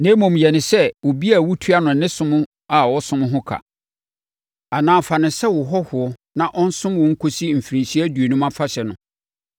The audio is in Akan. na mmom, yɛ no sɛ obi a wotua no ne som a ɔsom ho ka, anaa fa no sɛ wo hɔhoɔ na ɔnsom wo nkɔsi Mfirinhyia Aduonum Afahyɛ no.